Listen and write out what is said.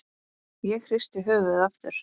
Ég hristi höfuðið aftur.